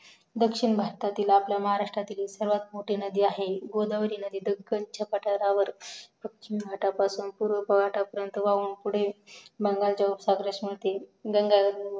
दक्षिण भारतातील आपल्या महाराष्ट्रतील सर्वात मोठी नदी आहे गोदावरी नदी तर दक्खनच्या पठारावर पच्चीम घाटापासून पूर्वा घाटापर्यंत वाहून पुढे बंगालच्या उपसागरस मिळते